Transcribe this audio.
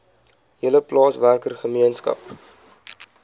hele plaaswerker gemeenskap